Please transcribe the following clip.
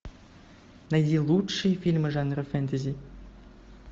найди лучшие фильмы жанра фэнтези